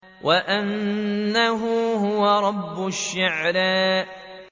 وَأَنَّهُ هُوَ رَبُّ الشِّعْرَىٰ